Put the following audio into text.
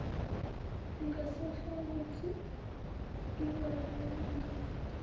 ngasohlangothini lwabe gcis